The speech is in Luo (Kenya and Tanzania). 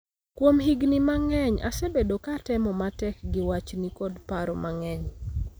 Kuom higni mang�eny, asebedo ka atemo matek gi wachni kod paro mang�eny.